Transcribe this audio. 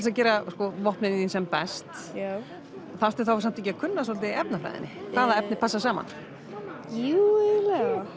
að gera vopnin þín sem best þarftu þá samt ekki að kunna svolítið í efnafræðinni hvaða efni passa saman jú